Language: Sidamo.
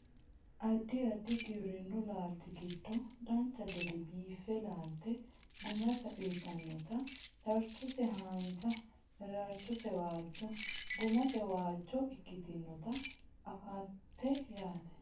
addi addi giwirinnu laalchi giddo dancha gede biiffe laalte gummase uyiitinota darchose haanja daraarchose waajjo gumase waajjo ikkitinota anfannite yaate